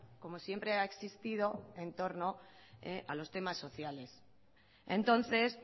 como siempre ha existido en torno a los temas sociales entonces